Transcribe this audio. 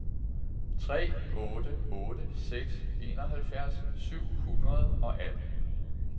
tre otte otte seks enoghalvfjerds syv hundrede og atten